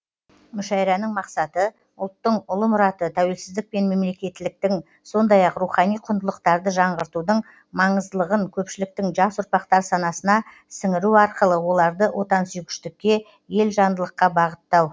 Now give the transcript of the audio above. мүшәйраның мақсаты ұлттың ұлы мұраты тәуелсіздік пен мемлекеттіліктің сондай ақ рухани құндылықтарды жаңғыртудың маңыздылығын көпшіліктің жас ұрпақтың санасына сіңіру арқылы оларды отансүйгіштікке елжандылыққа бағыттау